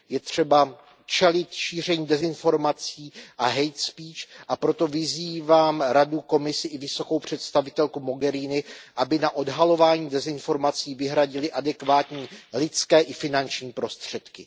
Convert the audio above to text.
Je třeba čelit šíření dezinformací a hate speech a proto vyzývám Radu, Komisi i vysokou představitelku Mogheriniovou, aby na odhalování dezinformací vyhradily adekvátní lidské i finanční prostředky.